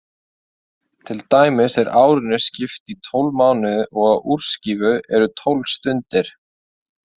Til dæmis er árinu skipt í tólf mánuði og á úrskífu eru tólf stundir.